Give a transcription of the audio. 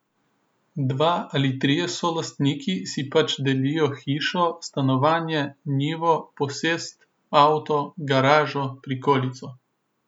Dva ali trije solastniki si pač delijo hišo, stanovanje, njivo, posest, avto, garažo, prikolico.